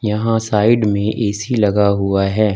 यहां साइड में ए_सी लगा हुआ है।